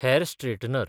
hair straightener